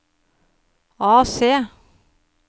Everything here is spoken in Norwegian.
AC